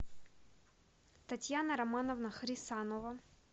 татьяна романовна хрисанова